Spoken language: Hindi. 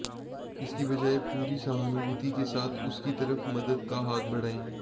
इसकी बजाए पूरी सहानुभूति के साथ उसकी तरफ मदद का हाथ बढ़ाएं